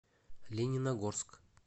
лениногорск